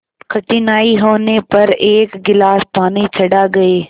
कठिनाई होने पर एक गिलास पानी चढ़ा गए